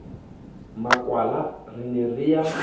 makwala re ne re a